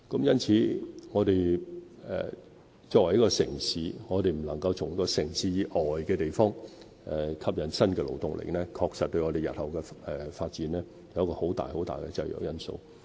因此，對香港這個城市來說，如我們未能從城市以外的地方吸引新的勞動力，確實對我們日後的發展構成一個很大的制約因素。